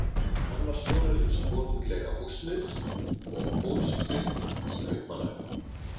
Hann var sonur hins konunglega úrsmiðs og ólst upp í Kaupmannahöfn.